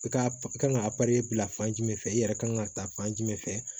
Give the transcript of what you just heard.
I ka i kan ka bila fan jumɛn fɛ i yɛrɛ kan ka ta fan jumɛn fɛ